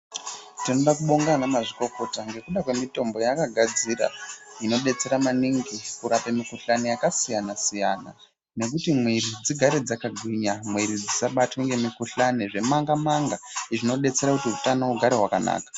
Tinoda kubonga ana mazvikokota ngekuda kwemitombo yavakagadzira inodetsera maningi kurapa mikuhlani yakasiyana- siyana nekuti mwiri dzigare dzakagwinya. Mwiri dzisabatwa ngemikuhlani zvemanga- manga zvinodetsera kuti hutano hugare hwakanaka.